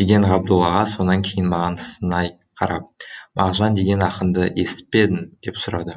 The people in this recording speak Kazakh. деген ғабдол аға сонан кейін маған сынай қарап мағжан деген ақынды естіп пе едің деп сұрады